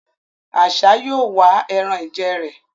Àṣá yóò wá ẹran-ìjẹ rẹ̀